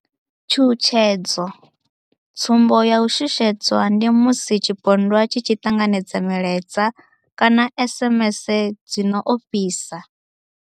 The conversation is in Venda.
Tshutshedzo, Tsumbo ya u shushedzwa ndi musi tshipondwa tshi tshi ṱanganedza milaedza kana SMS dzi no ofhisa.